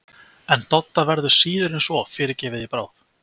En Dodda verður síður en svo fyrirgefið í bráð!